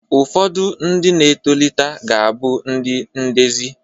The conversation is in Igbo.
Ụfodu ndi na etolita ga-abu ndi ndezi